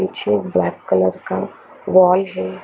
निचे एक black colour का वाय हैं।